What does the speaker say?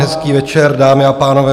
Hezký večer, dámy a pánové.